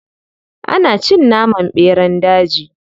Ana cin naman ɓeran daji.